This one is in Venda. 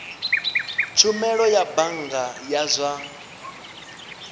tshumelo ya bannga ya zwa